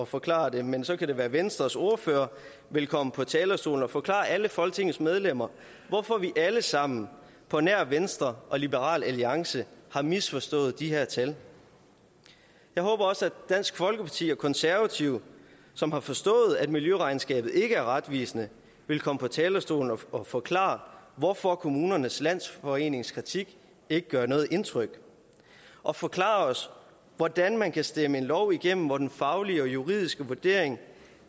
forklare det men så kan det være venstres ordfører vil komme på talerstolen og forklare alle folketingets medlemmer hvorfor vi alle sammen på nær venstre og liberal alliance har misforstået de her tal jeg håber også at dansk folkeparti og konservative som har forstået at miljøregnskabet ikke er retvisende vil komme på talerstolen og forklare hvorfor kommunernes landsforenings kritik ikke gør noget indtryk og forklare os hvordan man kan stemme en lov igennem hvor den faglige og juridiske vurdering